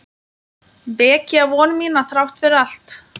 Vekja von mína þrátt fyrir allt.